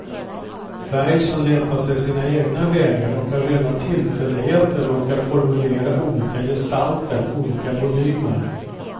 Färg som letar sig sina egna vägar och av rena tillfälligheter råkar formulera olika gestalter, olika volymer.